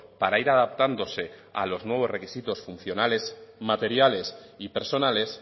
para ir adaptándose a los nuevos requisitos funcionales materiales y personales